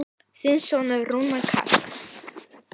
Þinn sonur, Rúnar Karl.